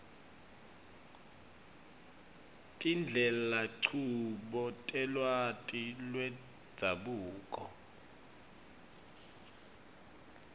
tindlelanchubo telwati lwendzabuko